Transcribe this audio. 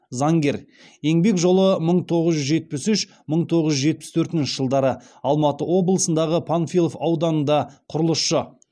заңгер еңбек жолы мың тоғыз жүз жетпіс үш мың тоғыз жүз жетпіс төртінші жылдары алматы облысындағы панфилов ауданында құрылысшы